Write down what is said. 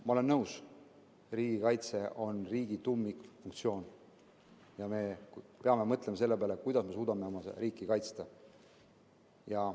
Ma olen nõus, et riigikaitse on riigi tuumikfunktsioon ja me peame mõtlema selle peale, kuidas me suudame oma riiki kaitsta.